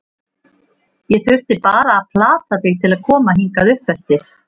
Ég þurfti bara að plata þig til að koma hingað uppeftir.